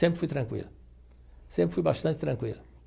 Sempre fui tranquilo, sempre fui bastante tranquilo.